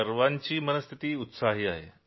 सर्वांची मनःस्थिती चांगली आहे